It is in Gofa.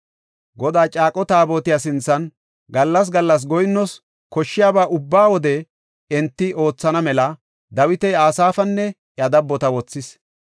Godaa caaqo Taabotiya sinthan gallas gallas goyinnoos koshshiyaba ubba wode enti oothana mela Dawiti Asaafanne iya dabbota wothis.